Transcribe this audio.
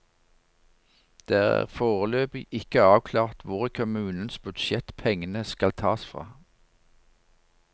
Det er foreløpig ikke avklart hvor i kommunens budsjett pengene skal tas fra.